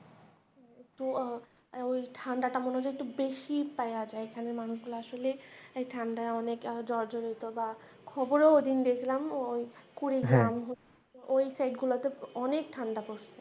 একটু ওই ঠাণ্ডাটা মনে হয় একটু বেশিই পাওয়া যায়, এখানকার মানুষ গুলো আসলে ঠাণ্ডায় অনেকে জড়জড়িত বা খবরেও ওইদিন দেখলাম ওই কুড়ি গ্রাম ওই সাইট গুলাতে অনেক ঠাণ্ডা পড়সে।